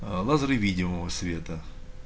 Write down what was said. аа лазеры видимого света